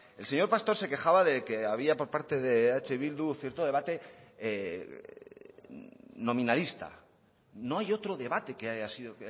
el señor pastor se quejaba de que había por parte de eh bildu cierto debate nominalista no hay otro debate que haya sido